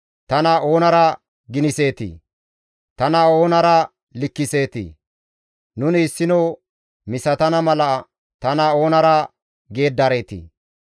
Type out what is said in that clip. «Tana oonara giniseetii? Tana oonara likkiseetii? Nuni issino misatana mala tana oonara geeddareetii?